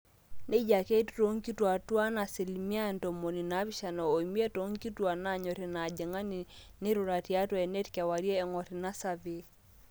neija ake etiu toonkituuaak tuaan asilimia ntomoni naapishana oimiet toonkuapi naanyor ina ajang'ani neirura tiatwa eneet kewarie eng'or ina survey